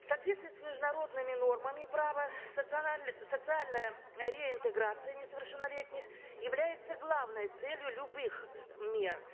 в соответствии с международными нормами права социальная реинтеграция несовершеннолетних является главной целью любых мер